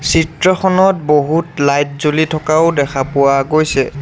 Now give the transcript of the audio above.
চিত্ৰখনত বহুত লাইট জ্বলি থকাও দেখা পোৱা গৈছে।